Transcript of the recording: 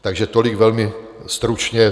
Takže tolik velmi stručně.